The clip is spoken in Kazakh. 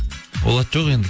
ол ат жоқ енді